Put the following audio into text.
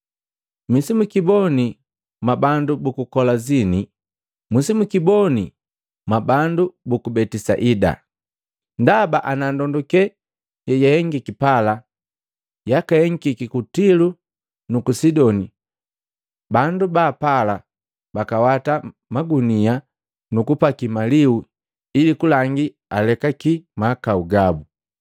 “Misi mwikiboni mwa bandu muku Kolazini! Msimwikiboni mwabandu buku Betisaida! Ndaba ana ndondukela yeyahengika pala gakahengiki ku Tilo nuku Sidoni, bandu baapala bakawata magunila nukupaki malihu ili kulangi alekaki mahakau gabu.